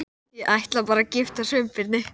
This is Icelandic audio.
Ég ætla bara að giftast Sveinbirni